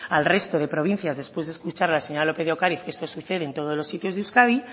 al resto de provincias después de escuchar a la señora lópez de ocariz que esto sucede en todos los sitios de euskadi